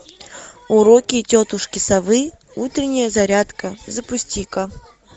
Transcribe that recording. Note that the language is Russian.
уроки тетушки совы утренняя зарядка запусти ка